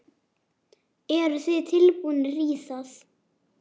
Eru þið tilbúnir í það?